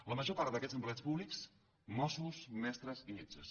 la major part d’aquests empleats públics mossos mestres i metges